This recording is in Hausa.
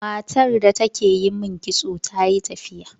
Matar da take yi min kitso tayi tafiya.